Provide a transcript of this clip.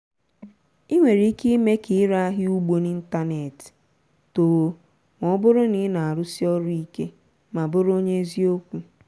ị nwere ike ime ka ire ahịa ugbo n'ịntanetị too ma ọ bụrụ na ị na-arụsi ọrụ ike ma bụrụ onye eziokwu.